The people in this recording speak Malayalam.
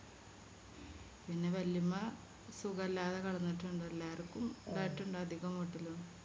പിന്നെ വലിയുമ്മ സുഖല്ലാതെ കെടന്നിട്ടുണ്ട് എല്ലാർക്കും ഇണ്ടായിട്ടിണ്ട് അതികം വീട്ടിലും